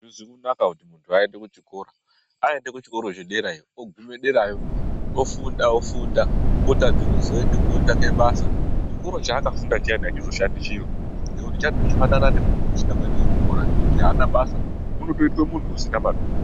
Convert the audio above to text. Azvizi kunaka kuti muntu aende kuchikora, aende kuchikora chederayo ogume derayo, ofunda, ofunda otadza kuzoende kotsvake basa. Chikoro chaakafunda chiyani achizoshandi nekuti chandofanana nemuntu usina kuende kuchikora ngekuti haana basa, unotoitwa muntu usina maturo.